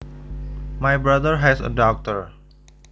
My brother has a daughter